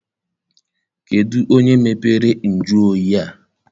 Kedụ onye mepere nju oyi a?